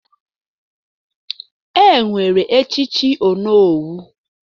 Enwere echichi onowu.